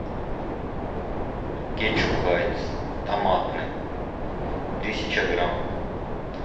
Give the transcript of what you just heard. кетчуп хайнц томатный тысяча грамм